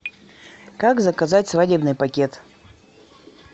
как заказать свадебный пакет